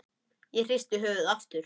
Ég hristi höfuðið aftur.